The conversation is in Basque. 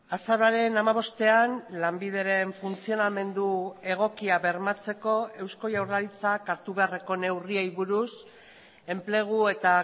azaroaren hamabostean lanbideren funtzionamendu egokia bermatzeko eusko jaurlaritzak hartu beharreko neurriei buruz enplegu eta